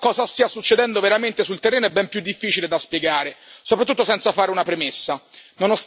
In realtà, cosa stia succedendo veramente sul terreno è ben più difficile da spiegare, soprattutto senza fare una premessa.